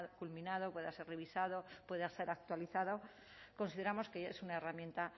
culminado pueda ser revisado pueda ser actualizado consideramos que ya es una herramienta